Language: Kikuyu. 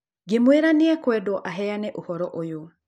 Ngĩmwĩra nĩ ekwendwo aheane ũhoro ũyũ